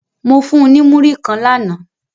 Mo fun un ni muri kan làná